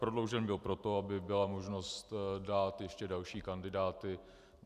Prodloužen byl proto, aby byla možnost dát ještě další kandidáty.